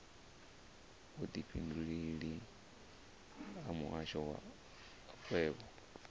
vhudifhinduleleli ha muhasho wa makwevho